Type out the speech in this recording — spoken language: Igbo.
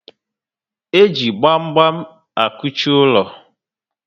E ji gbam gbam akuchi ulo